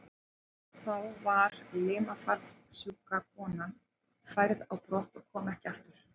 Þá var limafallssjúka konan færð á brott og kom ekki aftur.